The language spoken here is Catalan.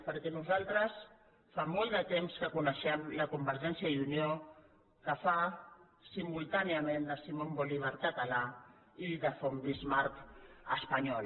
perquè nosaltres fa molt de temps que coneixem la convergència i unió que fa simultàniament de simon bolívar català i de von bismarck espanyol